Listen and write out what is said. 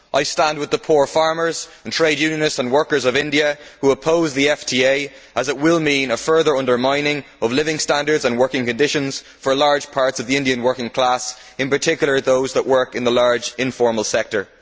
I stand with the poor farmers, trade unionists and workers of India who oppose the FTA as it will mean a further undermining of living standards and working conditions for large parts of the Indian working class, in particular, those that work in the large informal sector.